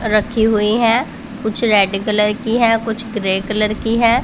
रखी हुई है कुछ रेड कलर की है कुछ ग्रे कलर की है।